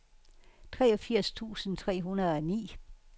treogfirs tusind tre hundrede og ni